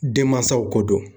Denmansaw ko don.